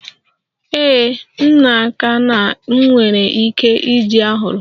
Ee, m n'aka na m nwere ike iji a hụrụ.